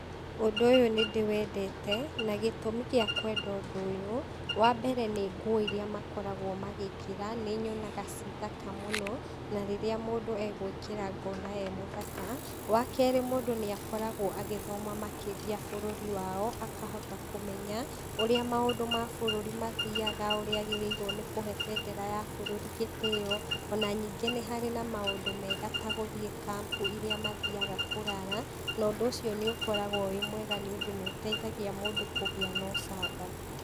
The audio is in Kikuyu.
Ũndũ ũyũ nĩndĩwendete, na gĩtũmi gĩa kwenda ũndũ ũyũ, wambere nĩ nguo iria makoragwo magĩkĩra, nĩnyonaga ciĩ thaka mũno, na rĩrĩa mũndũ egwĩkĩra ngona e mũthaka, wakerĩ, mũndũ nĩakoragwo agĩthoma makĩria bũrũri wao, akahota kũmenya, ũrĩa maũndũ ma bũrũri mathiaga, ũrĩa agĩrĩirwo nĩkũhe bendera ya bũrũri gĩtĩo, ona ningĩ nĩharĩ maũndũ mega ta gũthĩi camp iria mathiaga kũrara, na ũndũ ũcio nĩũkoragwo wĩ mwega tondũ nĩũteithagia mũndũ kũgĩa na ũcamba.